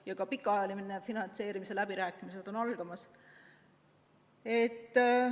Ja ka pikaajaline finantseerimise läbirääkimised on algamas.